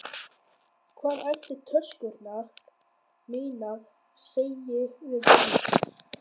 Hvað ætli töskurnar mínar segi við því?